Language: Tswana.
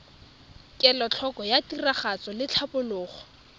kelotlhoko ya tiragatso le tlhatlhobo